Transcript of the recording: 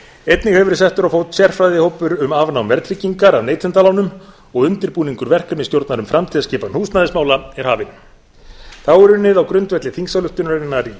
einnig hefur verið settur á fót sérfræðingahópur um afnám verðtryggingar af neytendalánum og undirbúningur verkefnastjórnar um framtíðarskipan húsnæðismála er hafinn þá er unnið á grundvelli þingsályktunarinnar í